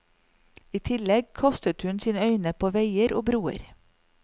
I tillegg kastet hun sine øyne på veier og broer.